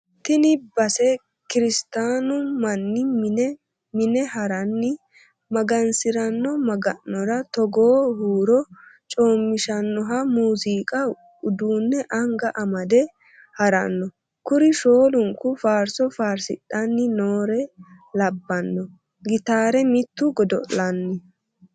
Tini base kiristanu manni mine mine harani magansirano maga'nora togoo huuro coomishanoha muziiqu uduune anga amade harano, kuri shoolunku faarso faarsidhani noore labbano gittare mitu godo'lanna.